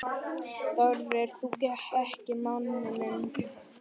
Þorir þú ekki, manni minn?